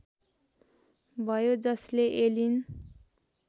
भयो जसले एलिन